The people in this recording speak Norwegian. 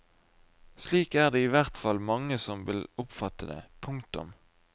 Slik er det i hvert fall mange som vil oppfatte det. punktum